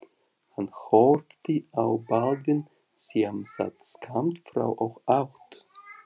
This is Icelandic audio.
Hann horfði á Baldvin sem sat skammt frá og át.